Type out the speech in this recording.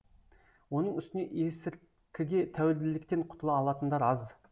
оның үстіне есірткіге тәуелділіктен құтыла алатындар аз